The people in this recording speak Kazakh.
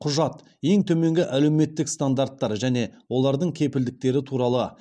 құжат ең төменгі әлеуметтік стандарттар және олардың кепілдіктері туралы